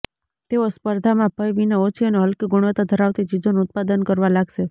તેઓ સ્પર્ધાનાં ભય વિના ઓછી અને હલકી ગુણવત્તા ધરાવતી ચીજોનું ઉત્પાદન કરવા લાગશે